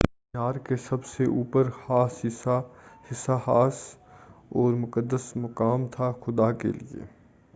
مینار کا سب سے اوپر حصہ خاص اور مقدس مقام تھا خدا کے لیے